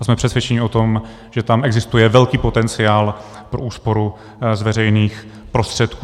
A jsme přesvědčeni o tom, že tam existuje velký potenciál pro úsporu z veřejných prostředků.